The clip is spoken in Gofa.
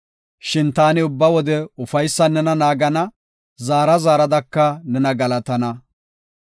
Shin taani ubba wode ufaysan nena naagana; zaara zaaradaka nena galatana.